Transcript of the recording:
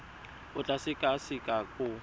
o tla e sekaseka go